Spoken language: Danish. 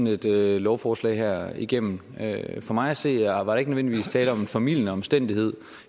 et lovforslag her igennem for mig at se er der ikke nødvendigvis tale om en formildende omstændighed